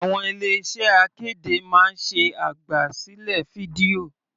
Àwọn ilé iṣẹ́ akéde máa ń ṣe àgbà sílẹ̀ fídíò.